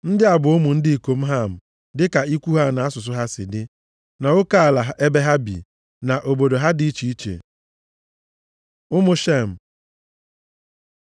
Ndị a bụ ụmụ ndị ikom Ham, dịka ikwu ha na asụsụ ha si dị, nʼoke ala ebe ha bi, na obodo ha dị iche iche. Ụmụ Shem